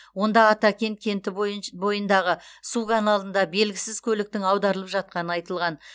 онда атакент кенті бойындағы су каналында белгісіз көліктің аударылып жатқаны айтылған